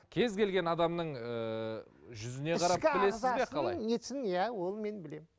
кез келген адамның ыыы жүзіне ішкі ағзасын несін иә оны мен білемін